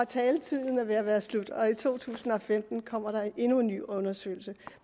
taletiden er ved at være slut og i to tusind og femten kommer der endnu en ny undersøgelse